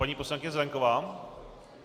Paní poslankyně Zelienková.